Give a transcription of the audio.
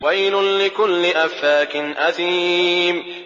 وَيْلٌ لِّكُلِّ أَفَّاكٍ أَثِيمٍ